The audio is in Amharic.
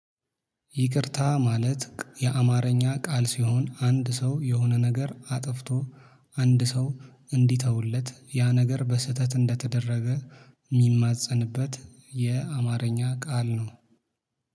ይቅርታ ማለት የአማርኛ ቃል ሲሆን አንድ ሰው የሆነ ነገር አጥፍቶ አንድ ሰው እንዲተውለት ያ ነገር በስህተት እንደተደረገ ሚማፀንበት የአማርኛ ቃል ነው።